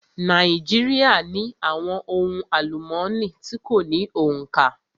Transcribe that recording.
Nàíjíríà ní àwọn ohun àlúmooni tí kò ní òǹkà.